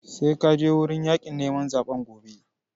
Sai ka je wurin yaƙin neman zaɓen gobe!